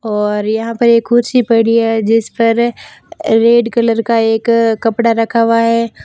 और यहां पर एक कुर्सी पड़ी है जिस पर रेड कलर का एक कपड़ा रखा हुआ है।